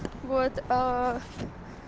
вот